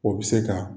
O bɛ se ka